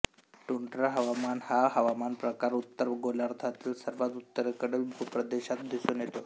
tundra हवामान हा हवामान प्रकार उत्तर गोलार्धातील सर्वात उत्तरेकडील भूप्रदेशात दिसून येतो